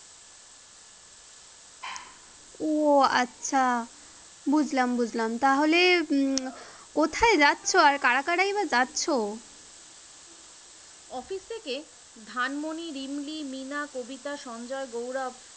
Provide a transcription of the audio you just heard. ও আচ্ছা বুঝলাম বুঝলাম তাহলে কোথায় যাচ্ছো আর কারা কারাই বা যাচ্ছো? office থেকে ধানমনী, রিমলী, মীনা, কবিতা, সঞ্জয়, গৌরব